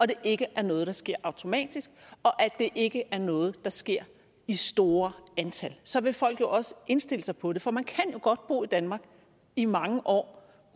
det ikke er noget der sker automatisk og at det ikke er noget der sker i store antal så vil folk jo også indstille sig på det for man kan jo godt bo i danmark i mange år